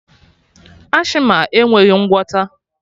Asthma enweghị ngwọta